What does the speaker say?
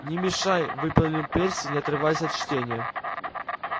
не мешай выпалил перси не отрываясь от чтения